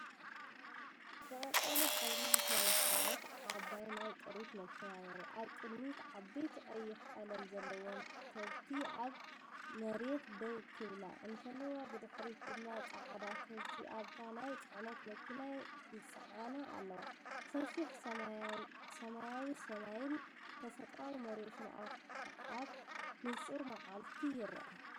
ብቀጠልያ ሕብሪ ዝተለኽየት ዓባይ ናይ ጥሪት መኪና የርኢ። ኣብ ቅድሚት ዓበይቲ ቀይሕ ቀለም ዘለወን ከብቲ ኣብ መሬት ደው ክብላ እንከለዋ፡ብድሕሪት ድማ ጻዕዳ ከብቲ ኣብታ ናይ ጽዕነት መኪና ይጽዓና ኣለዋ። ሰፊሕ ሰማያዊሰማይን ተፈጥሮኣዊ መሬትን ኣብ ንጹር መዓልቲ ይርአ።